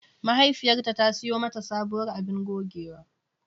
Mahaifiyarta ta siyo mata sabuwar abun gogewa.